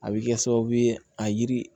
A bɛ kɛ sababu ye a yiri